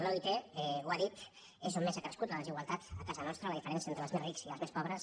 l’oit ho ha dit és on més ha crescut la desigualtat a casa nos·tra la diferència entre els més rics i els més pobres